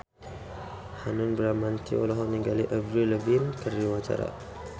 Hanung Bramantyo olohok ningali Avril Lavigne keur diwawancara